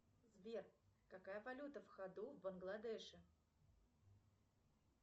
сбер какая валюта в ходу в бангладеше